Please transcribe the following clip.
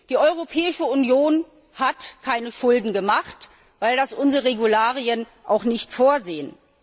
Die Europäische Union hat keine Schulden gemacht, weil das unsere Regularien auch nicht vorsehen.